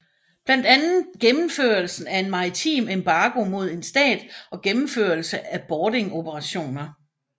Blandt andet gennemførelsen af en maritim embargo mod en stat og gennemførelse af boardingoperationer